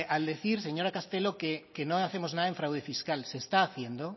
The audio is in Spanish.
al decir señora castelo que no hacemos nada en fraude fiscal se está haciendo